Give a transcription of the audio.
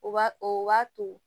O b'a o b'a to